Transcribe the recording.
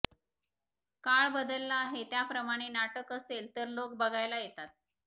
काळ बदलला आहे त्याप्रमाणे नाटक असेल तर लोक बघायला येतात